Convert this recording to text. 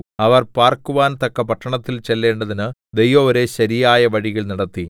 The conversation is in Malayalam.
അവർ പാർക്കുവാൻ തക്ക പട്ടണത്തിൽ ചെല്ലേണ്ടതിന് ദൈവം അവരെ ശരിയായ വഴിയിൽ നടത്തി